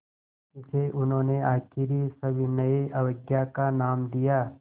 इसे उन्होंने आख़िरी सविनय अवज्ञा का नाम दिया